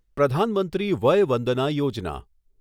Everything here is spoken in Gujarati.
પ્રધાન મંત્રી વય વંદના યોજના